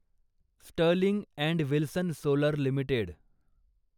Sterling and Wilson solar limited